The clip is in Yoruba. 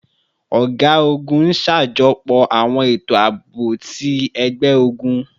Ọga-ogun n ṣajọpọ awọn eto aabo ti ẹgbẹ-ogun